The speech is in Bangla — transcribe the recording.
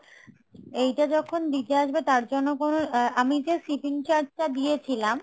এইটা যখন দিতে আসবে তার জন্য কোনো, আমি যে shipping charge টা দিয়ে ছিলাম